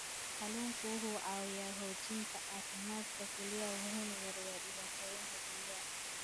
Kalluunku wuxuu caawiyaa xoojinta caafimaadka kelyaha wuxuuna yareeyaa dhibaatooyinka kelyaha.